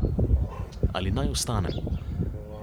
Ali naj ostanem?